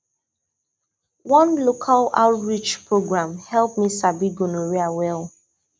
one local oureach program help me sabi gonorrhea well